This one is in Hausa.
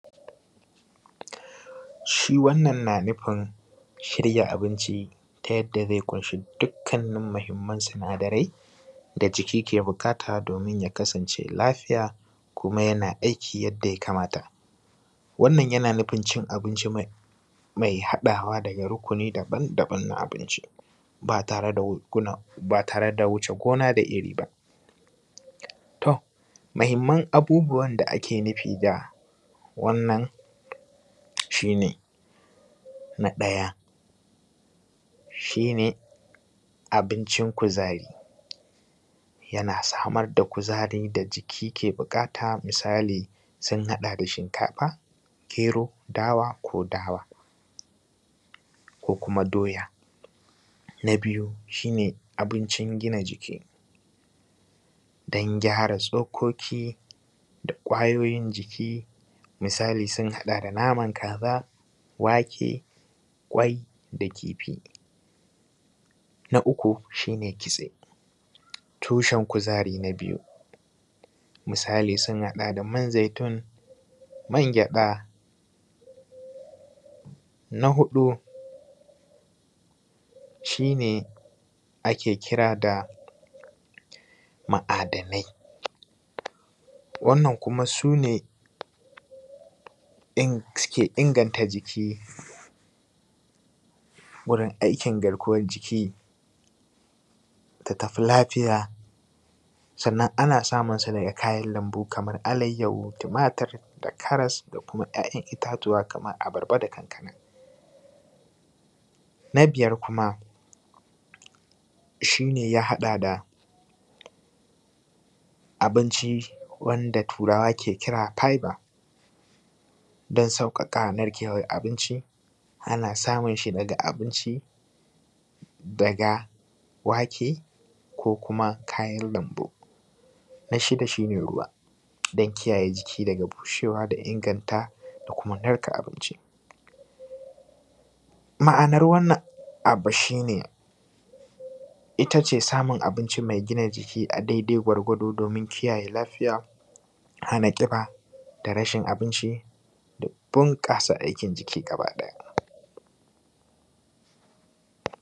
Shi wannan na nufin shirya abinci ne ta yadda zai ƙunshi dukkannin muhimman sinadarai da jiki ke buƙata domin ya kasance lafiya, kuma yana aiki yadda ya kamata. Wannan yana nufin cin abinci mai haɗawa daga ruƙuni daban daban na abinci ba tare da wuce gona da iri ba. To mahimman abubuwa da ake nufi da wannan shi ne, na ɗaya shi ne abincin kuzari, yana samar da kuzari da jiki ke buƙata misali sun haɗa da shinkafa, gero, dawa, ko dawa ko kuma doya. Na biyu shi ne abincin gina jiki don gyara tsokoki da kwayoyin jiki misali sun haɗa da naman kaza, wake, ƙwai, da kifi. Na uku shi ne kitse tushen kuzari na biyu misali sun haɗa da man zaitun, man gyaɗa. Na huɗu shi ne ake kira da ma'adanai wannan kuma su ne suke inganta jiki wurin aikin garkuwan jiki ta tafi lafiya sannan ana samun sa ne daga kayan lambu kamar alaihu, tumatur, da karas, da kuma 'yayan itatuwa kamar abarba, da kankana. Na biyar kuma shi ne ya haɗa da abinci wanda turawa ke kira da fiber don sauƙaƙa narkewan abinci. Ana samun shine daga abinci daga wake, ko kuma kayan lambu. Na shida shi ne ruwa don kiyaye jiki daga bushewa da inganta da kuma narka abinci. Ma'anar wannan abu shi ne, itace samun abinci mai gina jiki a dai dai gwargwado domin kiyaye lafiya, hana ƙiba, da rashin abinci, da bunƙasa aikin jiki gaba ɗaya.